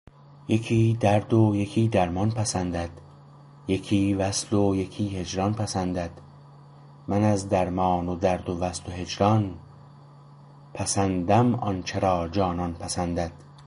یکی درد و یکی درمان پسندد یکی وصل و یکی هجران پسندد من از درمان و درد و وصل و هجران پسندم آنچه را جانان پسندد